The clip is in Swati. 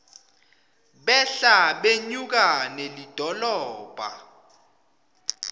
behla benyuka nelidolobha